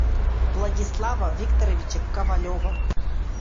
владислава викторовича ковалева